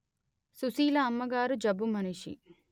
సుశీల అమ్మగారు జబ్బు మనిషి